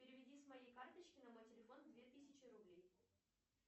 переведи с моей карточки на мой телефон две тысячи рублей